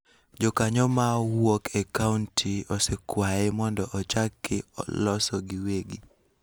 Jokanyo ma wuok e kaonti osekwaye mondo ochaki loso giwegi,